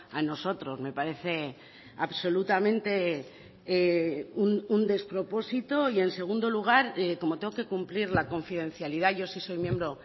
a nosotros me parece absolutamente un despropósito y en segundo lugar como tengo que cumplir la confidencialidad yo sí soy miembro